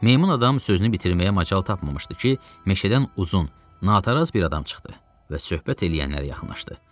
Meymun adam sözünü bitirməyə macal tapmamışdı ki, meşədən uzun, nataraz bir adam çıxdı və söhbət eləyənlərə yaxınlaşdı.